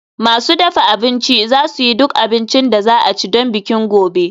Masu dafa abinci za su yi duk abincin da za a ci don bikin gobe